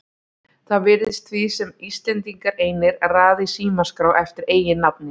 Það virðist því sem Íslendingar einir raði í símaskrá eftir eiginnafni.